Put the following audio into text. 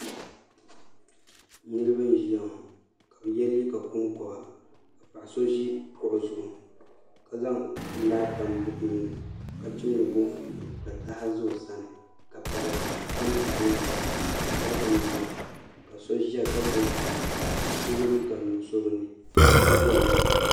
Niraba n ʒiya ŋo ka bi yɛ liiga konkoba ka paɣa so ʒi kuɣu zuɣu ka zaŋ laa tam buɣum ni ka chimdi boofurooto ka taha ʒɛ o sani ka piɛɣu tam tahali zuɣu ka jɛrikan ʒia ka so ʒiya ka gbubi bihi bi ni ka so yɛ liiga nuɣso bi nyaanga